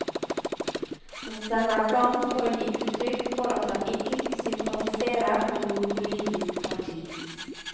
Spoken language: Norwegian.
Han stemmer blankt for å gi utrykk for at han ikke sympatiserer med noe politisk parti.